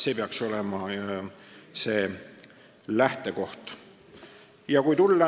See peaks olema see lähtekoht.